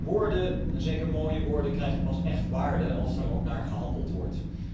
Maar woorden, en zeker mooie woorden, krijgen pas echt waarde als daar ook naar gehandeld wordt.